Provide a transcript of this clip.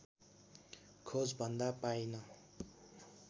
खोजभन्दा पाइन